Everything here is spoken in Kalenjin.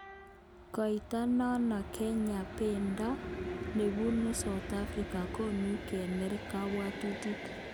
Koitonon Kenya bendo nebunu Sauthafrika konu kener kabwotutik